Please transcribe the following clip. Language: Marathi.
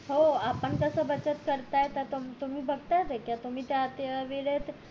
हो आपण जस बचत करताय तस तुम्ही करत्यात ये का